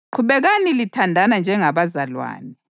Qhubekani lithandana njengabazalwane.